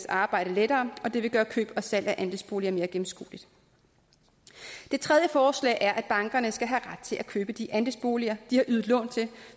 arbejde lettere og det vil gøre køb og salg af andelsboliger mere gennemskueligt det tredje forslag er at bankerne skal have ret til at købe de andelsboliger de har ydet lån til